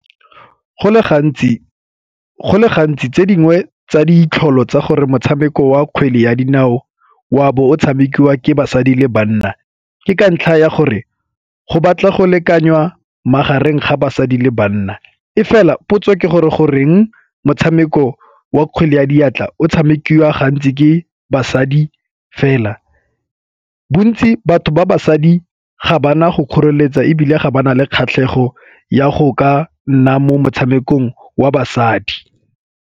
Go le gantsi tse dingwe tsa ditlholo tsa gore motshameko wa kgwele ya dinao wa bo o tshamekiwa ke basadi le banna ke ka ntlha ya gore go batla go lekanya magareng ga basadi le banna. E fela potso ke gore goreng motshameko wa kgwele ya diatla o tshamekiwa gantsi ke basadi fela. Bontsi batho ba basadi ga bana go kgoreletsa ebile ga ba na le kgatlhego ya go ka nna mo motshamekong wa basadi.